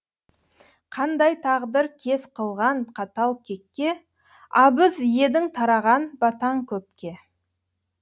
қандай тағдыр кез қылған қатал кекке абыз едің тараған батаң көпке